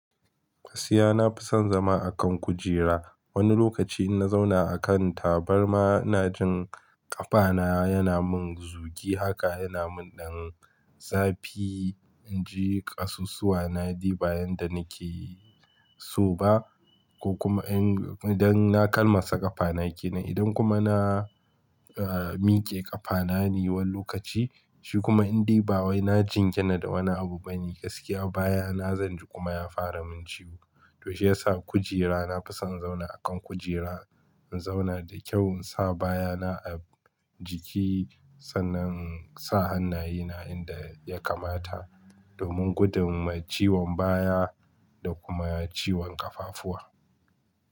Gaskiya na fi son zama a kan kujera. Wani lokaci in na zauna a kan tabarma ina jin ƙafana yana min zugi haka yana min dan zafi. In ji ƙasusuwa na ni bayan da nake so ba ko kuma idan na kalmasa ƙafana ke nan. Idan kuma na, ah, miƙe ƙafana ni wani lokaci shi kuma in dai ba wai na jingina da wani abu bane. Gaskiya baya na zanji kuma ya fara min ciwo. To shi ya sa kujera na fi son in zauna a kan kujera. In zauna da kyau in sa baya na a jiki sannan in sa hannaye na inda ya kamata domin gudun ma ciwon baya da kuma ciwon ƙafafuwa.